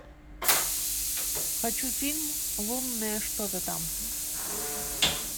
хочу фильм лунное что то там